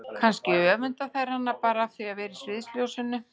Kannski öfunda þær hana bara af því að vera í sviðsljósinu.